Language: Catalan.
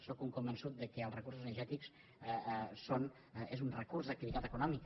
sóc un convençut que els recursos cinegètics són un recurs d’activitat econòmica